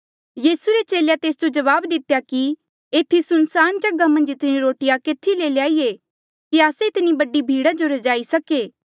यीसू रे चेले तेस जो जवाब दितेया कि एथी सुनसान जगहा मन्झ इतनी रोटिया केथी ले ल्याईये कि आस्से इतनी बडी भीड़ा जो रजाई सके